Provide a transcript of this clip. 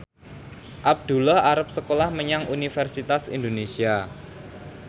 Abdullah arep sekolah menyang Universitas Indonesia